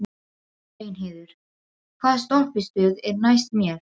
Reynheiður, hvaða stoppistöð er næst mér?